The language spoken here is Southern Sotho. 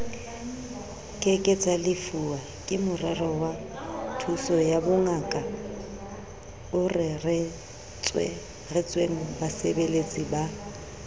ke ke tsalefuwa gemskemorerowathusoyabongakaoreretswengbasebeletsi ba